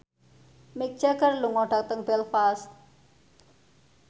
Mick Jagger lunga dhateng Belfast